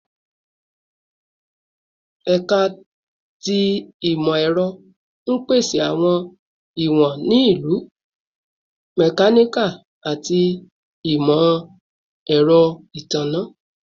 Ẹka ti Imọ-ẹrọ n pese awọn iwọn ni Ilu, Mechanical, ati Imọ-ẹrọ Itanna